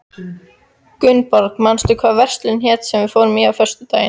Gunnborg, manstu hvað verslunin hét sem við fórum í á föstudaginn?